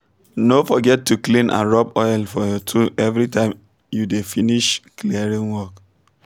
no forget to clean and rub oil for your tool everytime as you um dey finish clearing work